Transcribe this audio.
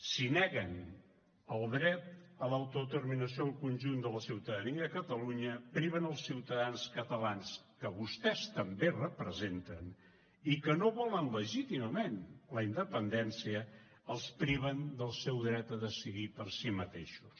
si neguen el dret a l’autodeterminació del conjunt de la ciutadania de catalunya priven els ciutadans catalans que vostès també representen i que no volen legítimament la independència els priven del seu dret a decidir per si mateixos